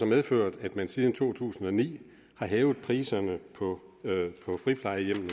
medført at man siden to tusind og ni har hævet priserne på friplejehjemmene